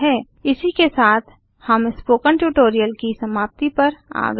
इसी के साथ हम स्पोकन ट्यूटोरियल की समाप्ति पर आ गए हैं